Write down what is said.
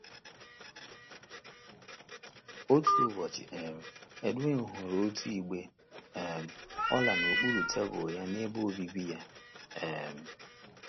Otu ụbọchị um, Edwin hụrụ otu igbe um ọla n’okpuru tebụl ya n’ebe obibi ya um.